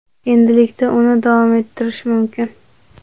Endilikda uni davom ettirish mumkin.